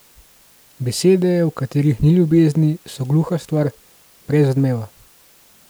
Besede, v katerih ni ljubezni, so gluha stvar, brez odmeva.